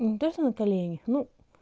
не то что на коленях ну